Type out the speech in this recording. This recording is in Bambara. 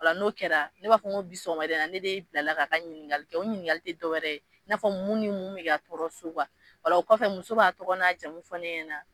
O la n'o kɛra, ne b'a fɔ ko bi sɔgɔmada in na, ne de bilala k'a ka ɲininkali kɛ, o ɲininkali ti dɔwɛrɛ ye, i n'a fɔ mun ni mun mi ka tɔɔrɔ so ola okɔfɛ muso, b'a tɔgɔ n'a jamu fɔ ne ɲɛna